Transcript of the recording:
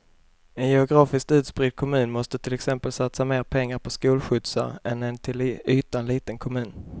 En geografiskt utspridd kommun måste till exempel satsa mer pengar på skolskjutsar än en till ytan liten kommun.